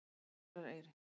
Dagverðareyri